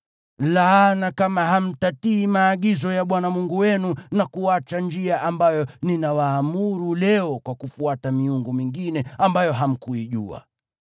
laana kama hamtatii maagizo ya Bwana Mungu wenu na kuacha njia ambayo ninawaamuru leo kwa kufuata miungu mingine, ambayo hamkuijua.